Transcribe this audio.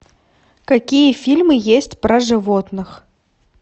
какие фильмы есть про животных